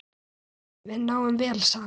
Við náum vel saman.